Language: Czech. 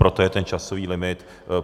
Proto je ten časový limit.